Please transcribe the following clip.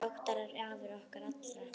Óttar er afi okkar allra.